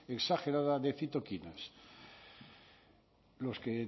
exagerada de citoquinas los que